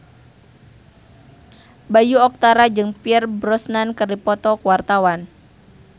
Bayu Octara jeung Pierce Brosnan keur dipoto ku wartawan